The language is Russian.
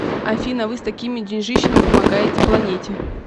афина вы с такими деньжищами помогаете планете